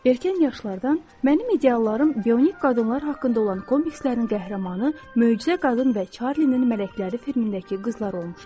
Erkən yaşlardan mənim ideallarım bionik qadınlar haqqında olan komikslərin qəhrəmanı möcüzə qadın və Çarlinin mələkləri filmindəki qızlar olmuşdur.